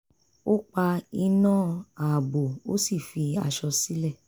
ó pa iná ààbò ó sì fi aṣọ sílẹ̀